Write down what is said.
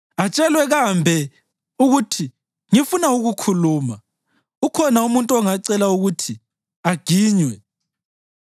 Atshelwe kambe ukuthi ngifuna ukukhuluma? Ukhona umuntu ongacela ukuthi aginywe?